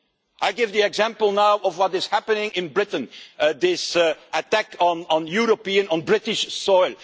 I give the example now of what is happening in Britain this attack on European, on British soil.